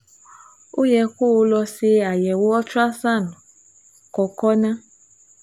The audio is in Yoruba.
Ó yẹ kó o lọ ṣe àyẹ̀wò ultrasound kókó náà